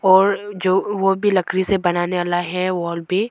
और जो वो भी लकरी से बनाने वाला है वाल पे।